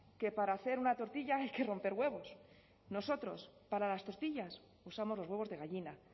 que para hacer una tortilla hay que romper huevos nosotros para las tortillas usamos los huevos de gallina